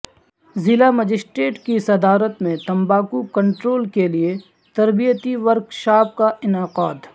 ضلع مجسٹریٹ کی صدارت میں تمباکوکنٹرول کےلئے تربیتی ورکشاپ کا انعقاد